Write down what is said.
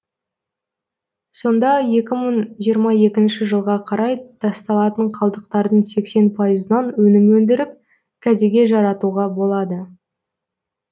сонда екі мың жиырма екінші жылға қарай тасталатын қалдықтардың сексен пайызынан өнім өндіріп кәдеге жаратуға болады